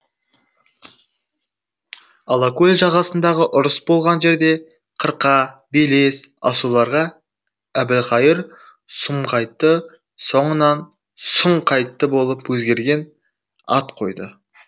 алакөл жағасындағы ұрыс болған жерде қырқа белес асуларға әбілқайыр сұмқайтты соңынан сұңқайтты болып өзгерген ат қойды